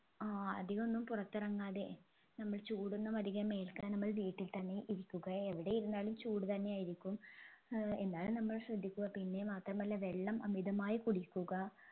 ആഹ് അധികമൊന്നും പുറത്തിറങ്ങാതെ നമ്മൾ ചൂടൊന്നും അധികം ഏൽക്കാതെ നമ്മൾ വീട്ടിൽ തന്നെ ഇരിക്കുക എവിടെ ഇരുന്നാലും ചൂട് തന്നെയായിരിക്കും ഏർ എന്നാലും നമ്മൾ ശ്രദ്ധിക്കുക പിന്നെ മാത്രമല്ല വെള്ളം അമിതമായി കുടിക്കുക